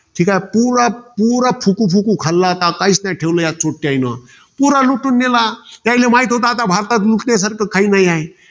ठीकाय. पुरा पुरा फुकुफुकू खाल्ला होता. आता काहीच न्हाई ठेवलं त्या पुरा लुटून नेला. त्याले म्हाईत होतं. आता भारतात लुटण्यासारख काई नाहीये.